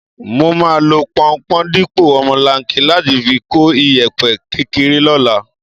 Mo máa lo pọunpọ̀n dípò omolanke láti fi kó ìyẹ̀pẹ̀ kékeré lọ́la.